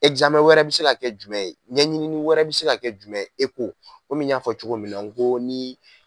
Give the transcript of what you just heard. wɛrɛ bi se ka kɛ jumɛn ye? ƝɛɲiniNI wɛrɛ bi se ka kɛ jumɛn? . Komi n y'a fɔ cogo min na n koo ni